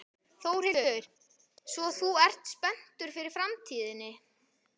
Þórhildur: Svo þú ert spenntur fyrir framtíðinni?